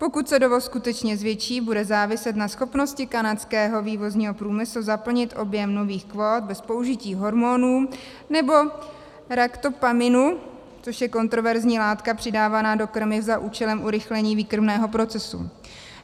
Pokud se dovoz skutečně zvětší, bude záviset na schopnosti kanadského vývozního průmyslu zaplnit objem nových kvót bez použití hormonů nebo raktopaminu, což je kontroverzní látka přidávaná do krmiv za účelem urychlení výkrmného procesu.